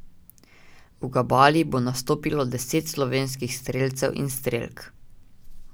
V Gabali bo nastopilo deset slovenskih strelcev in strelk.